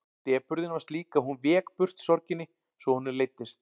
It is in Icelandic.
Depurðin var slík að hún vék burt sorginni svo honum leiddist.